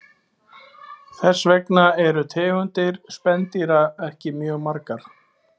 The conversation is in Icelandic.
Þess vegna eru tegundir spendýra ekki mjög margar.